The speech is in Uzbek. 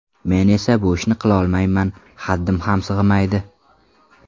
Men esa bu ishni qilolmayman, haddim ham sig‘maydi.